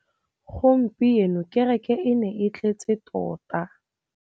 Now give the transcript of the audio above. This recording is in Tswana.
Gompieno kêrêkê e ne e tletse tota.